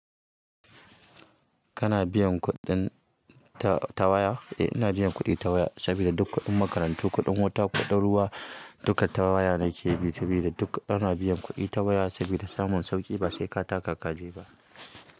Kana biyan kuɗin ta waya? Eh ina biyan kuɗi ta waya sabida duk kuɗin makaranta, kuɗin wuta, kuɗin ruwa duka ta waya nake bi sabida duk ana biyan kuɗi ta waya sabida samun sauƙi ba sai ka taka kaje ba.